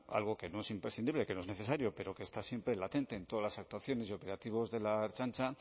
algo que no es imprescindible que no es necesario pero que está siempre latente en todas las actuaciones y operativos de la ertzaintza